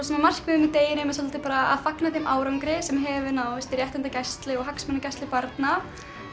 markmiðið með deginum er svolítið bara að fagna þeim árangri sem hefur náðst í réttindagæslu og hagsmunagæslu barna